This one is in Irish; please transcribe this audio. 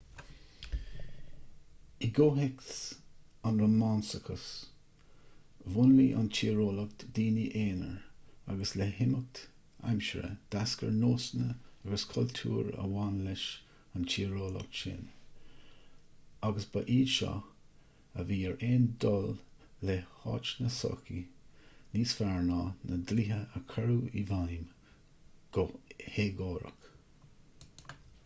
i gcomhthéacs an rómánsachais mhúnlaigh an tíreolaíocht daoine aonair agus le himeacht aimsire d'eascair nósanna agus cultúr a bhain leis an tíreolaíocht sin agus b' iad seo a bhí ar aon dul le háit na sochaí níos fearr ná na dlíthe a chuireadh i bhfeidhm go héagórach